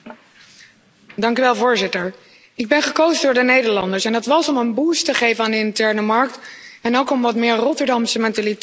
Voorzitter, ik ben gekozen door de Nederlanders en dat was om een boost te geven aan de interne markt en ook om wat meer Rotterdamse mentaliteit in Brussel te brengen.